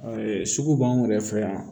sugu b'anw yɛrɛ fɛ yan